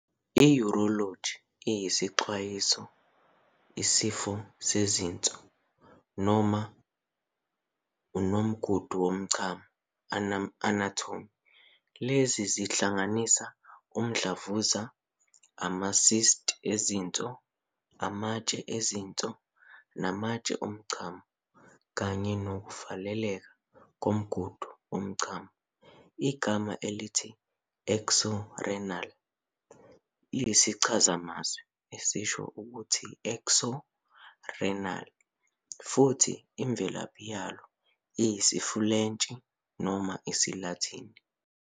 I-Urology ixazulula izifo zezinso, nomgudu womchamo, anatomy- lezi zihlanganisa umdlavuza, ama-cyst ezinso, amatshe ezinso namatshe omchamo, kanye nokuvaleka komgudu womuchamo. Igama elithi "Xoʹrenal" liyisichazamazwi esisho ukuthi "Xo·ʹrenalʹ" futhi imvelaphi yalo isiFulentshi noma isiLatini.